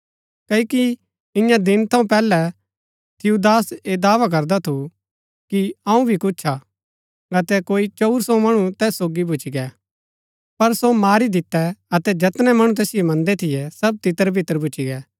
क्ओकि ईयां दिन थऊँ पैहलै थियूदास ऐह दावा करदा थू कि अऊँ भी कुछ हा अतै कोई चंऊर सो मणु तैस सोगी भूच्ची गै पर सो मारी दिता अतै जैतनै मणु तैसिओ मन्दै थियै सब तितरबितर भूच्ची गै